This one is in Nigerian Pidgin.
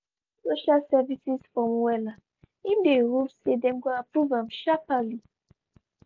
e fill social services form wella im dey hope say dem go approve am sharpally.